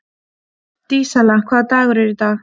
Dísella, hvaða dagur er í dag?